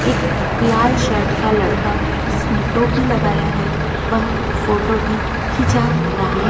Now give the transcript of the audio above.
एक लाल शर्ट का लड़का जिसने टोपी लगाया है वह फोटो भी खींचा रहा--